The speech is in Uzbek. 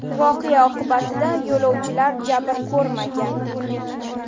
Voqea oqibatida yo‘lovchilar jabr ko‘rmagan.